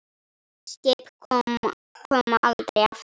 Skip koma aldrei aftur.